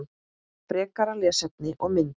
Frekara lesefni og mynd